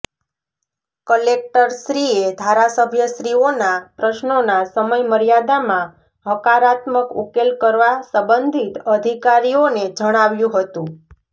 કલેકટરશ્રીએ ધારાસભ્યશ્રીઓના પ્રશ્નોના સમયમર્યાદામાં હકારાત્મક ઉકેલ કરવા સબંધિત અધિકારીઓને જણાવ્યું હતું